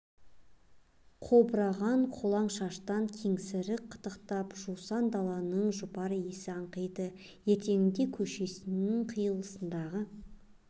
қобыраған қолаң шаштан кеңсірік қытықтап жусанды даланың жұпар иісі аңқиды ертеңінде көшесінің қиылысындағы